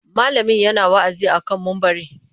Malamin yana wa'azi a kan mumbari.